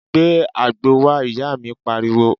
Gbé àgbo wá, ìyá mi pariwo